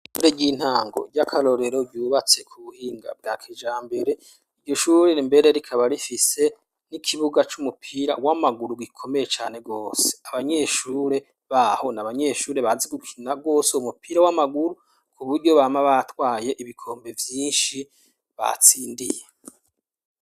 Ishure ry'intango ry'akarorero ryubatse ku buhinga bwa kijambere iryo shurire mbere rikaba rifise n'ikibuga c'umupira w'amaguru gikomeye cane gose, abanyeshure baho n' abanyeshure bazi gukina gwose uwo mupira w'amaguru ku buryo bama batwaye ibikombe vyinshi batsindiye.